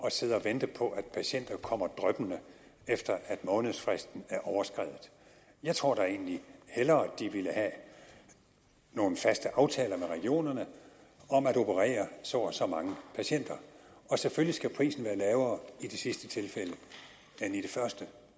at sidde og vente på at patienter kommer drypvis efter at månedsfristen er overskredet jeg tror da egentlig hellere de ville have nogle faste aftaler med regionerne om at operere så og så mange patienter og selvfølgelig skal prisen være lavere i det sidste tilfælde end i det første